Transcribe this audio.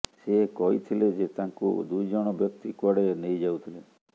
ସେ କହିଥିଲେ ଯେ ତାଙ୍କୁ ଦୁଇଜଣ ବ୍ୟକ୍ତି କୁଆଡ଼େ ନେଇଯାଉଥିଲେ